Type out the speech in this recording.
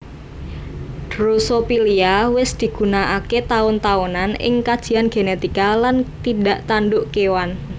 Drosophila wis digunakaké taun taunan ing kajian genetika lan tindak tanduk kéwan